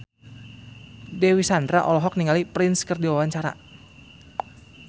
Dewi Sandra olohok ningali Prince keur diwawancara